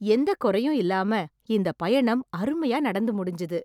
எந்தக் குறையும் இல்லாம இந்த பயணம் அருமையா நடந்து முடிஞ்சுது.